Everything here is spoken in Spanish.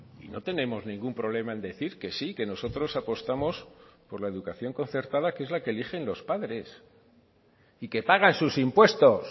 y no tenemos ningún problema en decir que sí que nosotros apostamos por la educación concertada que es la que eligen los padres y que pagan sus impuestos